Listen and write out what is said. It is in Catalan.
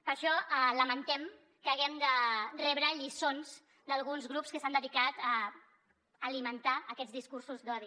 per això lamentem que haguem de rebre lliçons d’alguns grups que s’han dedicat a alimentar aquests discursos d’odi